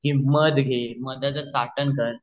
कि मध घे मधला चाटण कर